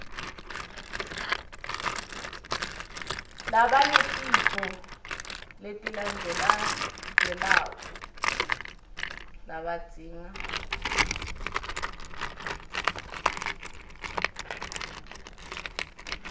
labanetifo letilandzelandzelako labadzinga